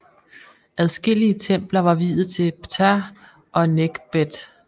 Adskillige templer var viet til Ptah og Nekhbet